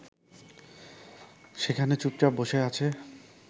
সেখানে চুপচাপ বসে আছে